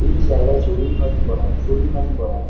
এই জায়গায় চড়ুইভাতি করা হয় চড়ুইভাতি করা হয়।